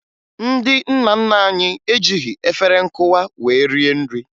Ndị nna nna anyị ejighi efere nkụwa wee rie nri